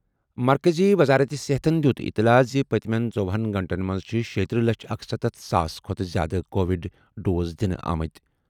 مرکزی وزارت صحتَن دِیُت اطلاع زِ پٔتمیٚن ژۄہنَ گٲنٛٹَن منٛز چھِ شیتٕرہ لچھ اکسَتتھ ساس کھۄتہٕ زِیٛادٕ کووڈ ڈوز دِنہٕ آمٕتۍ۔